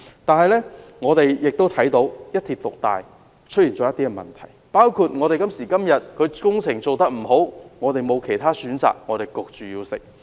然而，我們亦看到"一鐵獨大"帶來的問題，包括現時的工程即使做得不到位，我們也沒有其他選擇，被迫要接受。